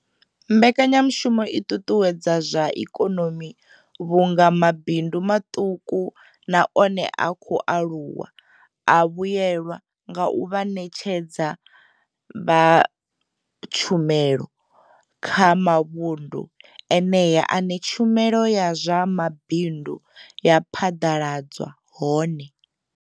Mbekanyamushumo i ṱuṱuwedza zwa ikonomi vhunga mabindu maṱuku na one a khou aluwa a vhuelwa nga u vha vhaṋetshedza vha tshumelo kha mavhundu eneyo ane tshumelo ya zwa mabindu ya phaḓaladzwa hone.